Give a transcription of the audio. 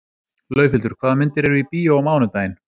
Laufhildur, hvaða myndir eru í bíó á mánudaginn?